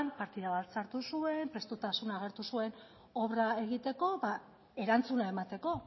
partida bat sartu zuen prestutasuna agertu zuen obra egiteko erantzuna emateko